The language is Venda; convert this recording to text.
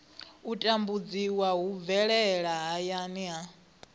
tambudziwa hu bvelela hayani ha